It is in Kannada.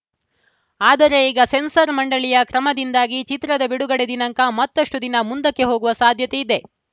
ಆದರೆ ಈಗ ಸೆನ್ಸಾರ್‌ ಮಂಡಳಿಯ ಕ್ರಮದಿಂದಾಗಿ ಚಿತ್ರದ ಬಿಡುಗಡೆ ದಿನಾಂಕ ಮತ್ತಷ್ಟುದಿನ ಮುಂದಕ್ಕೆ ಹೋಗುವ ಸಾಧ್ಯತೆಯಿದೆ